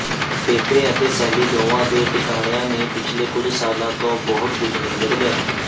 Pepe ਅਤੇ Sally ਦੋਵਾਂ ਦੇ ਟਿਕਾਣਿਆਂ ਨੇ ਪਿਛਲੇ ਕੁਝ ਸਾਲਾਂ ਤੋਂ ਬਹੁਤ ਕੁਝ ਨਹੀਂ ਬਦਲਿਆ